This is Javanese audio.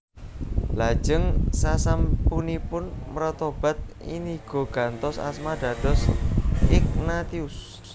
Lajeng sasampunipun mretobat Inigo gantos asma dados Ignatius